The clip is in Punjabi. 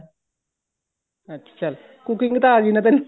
ਅੱਛਾ ਚੱਲ cooking ਤਾਂ ਆ ਗਈ ਨਾ ਤੈਨੂੰ